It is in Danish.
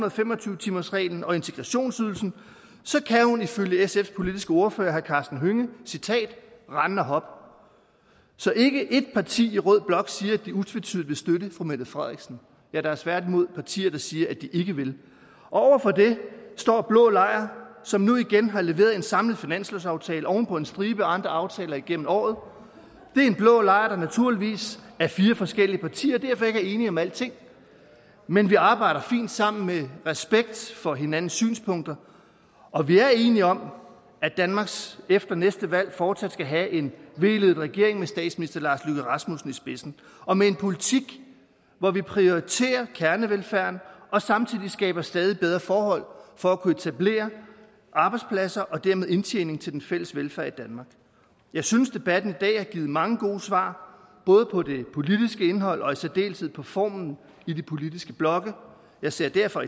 og fem og tyve timersreglen og integrationsydelsen kan hun ifølge sfs politiske ordfører herre karsten hønge rende og hoppe så ikke ét parti i rød blok siger at de utvetydigt vil støtte fru mette frederiksen ja der er tværtimod partier der siger at de ikke vil over for det står blå lejr som nu igen har leveret en samlet finanslovsaftale oven på en stribe andre aftaler igennem året det er en blå lejr der naturligvis er fire forskellige partier og derfor ikke er enige om alting men vi arbejder fint sammen med respekt for hinandens synspunkter og vi er enige om at danmark efter næste valg fortsat skal have en v ledet regering med statsminister lars løkke rasmussen i spidsen og med en politik hvor vi prioriterer kernevelfærden og samtidig skaber stadig bedre forhold for at kunne etablere arbejdspladser og dermed indtjening til den fælles velfærd i danmark jeg synes debatten i dag har givet mange gode svar både på det politiske indhold og i særdeleshed på formen i de politiske blokke jeg ser derfor